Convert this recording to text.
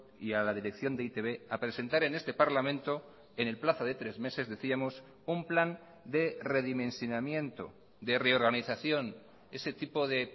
y a la dirección de e i te be a presentar en este parlamento en el plazo de tres meses decíamos un plan de redimensionamiento de reorganización ese tipo de